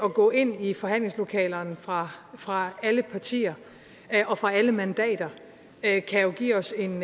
at gå ind i forhandlingslokalerne fra fra alle partier og fra alle mandater kan jo give os en